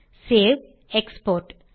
save export